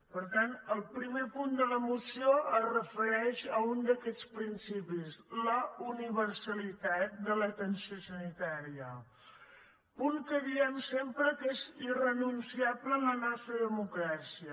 per tant el primer punt de la moció es refereix a un d’aquests principis la universalitat de l’atenció sanitària punt que diem sempre que és irrenunciable en la nostra democràcia